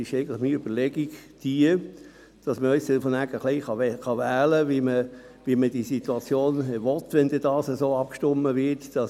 Meine Überlegung ist, dass man dann gewissermassen wählen kann, wie man es in welcher Situation haben will – wenn denn so abgestimmt werden sollte.